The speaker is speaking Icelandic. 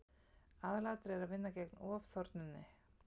Aðalatriðið er að vinna gegn ofþornuninni.